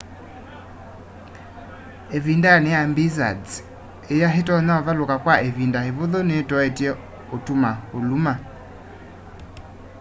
ivindani ya blizzards iya itonya uvaluka kwa ivinda ivuthu nitoetye utuma uluma